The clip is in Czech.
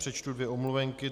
Přečtu dvě omluvenky.